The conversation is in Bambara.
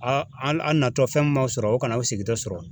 A a na tɔ fɛn mun ma sɔrɔ o kana aw sigin tɔ sɔrɔ.